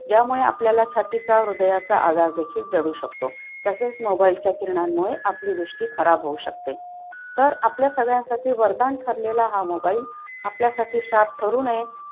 त्यामुळे आपल्याला छातीचा, हृदयाचा आधार देखील जडू शकतो. तसेच mobile चा किरणामुळे आपली दृष्टी खराब होऊ शकते. आपल्या सगळ्यांसाठी वरदान ठरलेला हा mobile आपल्यासाठी शाप करू नये